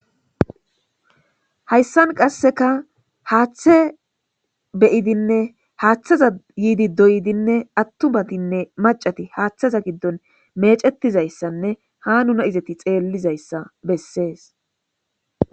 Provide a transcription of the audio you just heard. hayssan qasseka haaththe beyidinne haaththaza yiidi doydinne attumatinne macati haaththaza giddon meecetizayssanne ha nuna izati xeellizayssa bessees